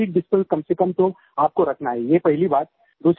6 feet distance कम से कम तो आपको रखना है ये पहली बात